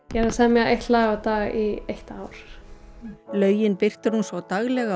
að semja eitt lag á dag í eitt ár lögin birtir hún svo daglega á